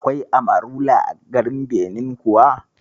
Akwai Amarula a garin Benin kuwa?